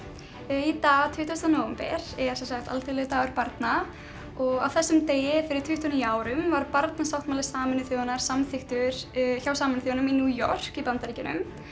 í dag tuttugasta nóvember er sem sagt alþjóðlegur dagur barna og á þessum degi fyrir tuttugu og níu árum var barnasáttmáli Sameinuðu þjóðanna samþykktur hjá Sameinuðu þjóðunum í New York í Bandaríkjunum